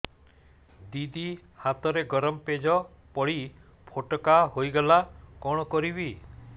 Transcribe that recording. ଦିଦି ହାତରେ ଗରମ ପେଜ ପଡି ଫୋଟକା ହୋଇଗଲା କଣ କରିବି